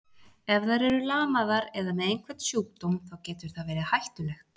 Ef þær eru lamaðar eða með einhvern sjúkdóm, þá getur það verið hættulegt.